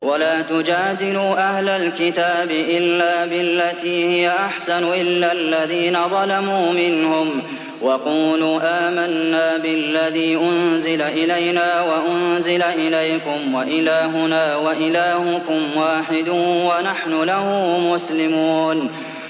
۞ وَلَا تُجَادِلُوا أَهْلَ الْكِتَابِ إِلَّا بِالَّتِي هِيَ أَحْسَنُ إِلَّا الَّذِينَ ظَلَمُوا مِنْهُمْ ۖ وَقُولُوا آمَنَّا بِالَّذِي أُنزِلَ إِلَيْنَا وَأُنزِلَ إِلَيْكُمْ وَإِلَٰهُنَا وَإِلَٰهُكُمْ وَاحِدٌ وَنَحْنُ لَهُ مُسْلِمُونَ